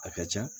A ka ca